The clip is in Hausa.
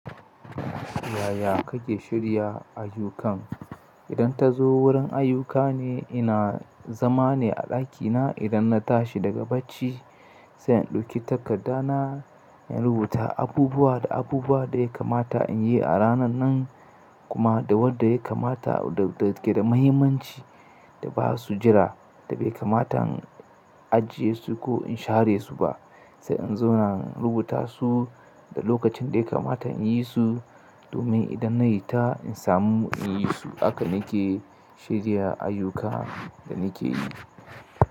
Yaya kake shirya ayyukan? Idan ta zo wurin ayyuka ne, ina zama ne a ɗakina idan na tashi daga bacci sai in ɗauki takarda na, in rubuta abubuwa da abubuwa da ya kamata in yi a ranan nan kuma da wanɗa ya kamata da ke da mahimmanci da ba su jira da bai kamata in ajiye su ko in share su ba. Sai in zauna in rubuta su da lokacin da ya kamata in yi su domin idan na yi ta in samu in yi su. Haka nake shirya ayyuka da nake yi.